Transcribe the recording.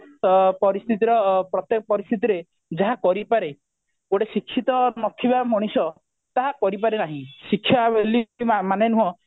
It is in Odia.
ଅ ପରିସ୍ଥିତିର ପ୍ରତେକ ପରିସ୍ଥିତି ରେ ଯାହା କରିପାରେ ଗୋଟେ ଶିକ୍ଷିତ ନଥିବା ମଣିଷ ତାହା କରିପାରେ ନାହି ଶିକ୍ଷା ଆଉ ମାନେ ନୁହଁ